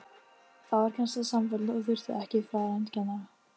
Þá varð kennsla samfelld og þurfti ekki farandkennara.